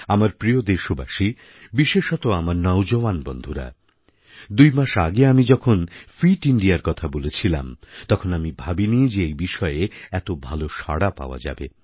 আমার প্রিয় দেশবাসী বিশেষত আমার নওজওয়ান বন্ধুরা দুই মাস আগে আমি যখন ফিট ইন্দিয়ার কথা বলেছিলাম তখন আমি ভাবিনি যে এই বিষয়ে এত ভাল সাড়া পাওয়া যাবে